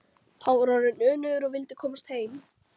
Hann var orðinn önugur og vildi komast heim.